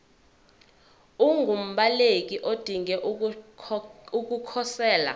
ungumbaleki odinge ukukhosela